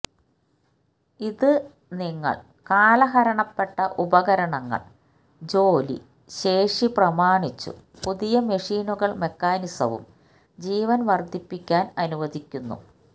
ഇത് നിങ്ങൾ കാലഹരണപ്പെട്ട ഉപകരണങ്ങൾ ജോലി ശേഷി പ്രമാണിച്ചു പുതിയ മെഷീനുകൾ മെക്കാനിസവും ജീവൻ വർദ്ധിപ്പിക്കാൻ അനുവദിക്കുന്നു